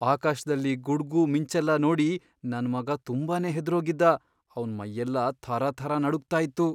ಆಕಾಶ್ದಲ್ಲಿ ಗುಡ್ಗು, ಮಿಂಚೆಲ್ಲ ನೋಡಿ ನನ್ ಮಗ ತುಂಬಾನೇ ಹೆದ್ರೋಗಿದ್ದ, ಅವ್ನ್ ಮೈಯೆಲ್ಲ ಥರಥರ ನಡುಗ್ತಾ ಇತ್ತು.